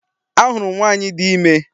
A hụrụ m nwaanyị di ime.